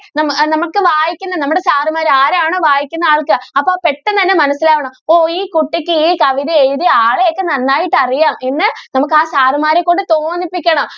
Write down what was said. മനു~നമുക്ക് വായിക്കുമ്പോൾ നമ്മുടെ സാറുമാര് ആരാണ് വായിക്കുന്ന ആൾക്ക് അപ്പൊ പെട്ടെന്ന് തന്നെ മനസ്സിലാകണം ഓഹ് ഈ കുട്ടിക്ക് ഈ കവിത എഴുതിയ ആളെ ഒക്കെ നന്നായിട്ട് അറിയാം എന്ന് നമുക്ക് ആ സാറുമാരെ കൊണ്ട് തോന്നിപ്പിക്കണം.